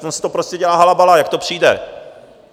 Ono se to prostě dělá halabala, jak to přijde.